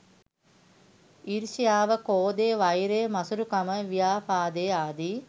ඊර්ෂ්‍යාව, ක්‍රෝධය, වෛරය, මසුරුකම, ව්‍යාපාදය ආදී